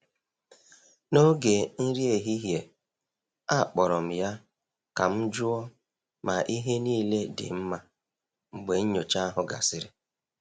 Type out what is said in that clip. N’oge nri ehihie, akpọrọ m ya ka m jụọ ma ihe niile dị mma mgbe nnyocha ahụ gasịrị.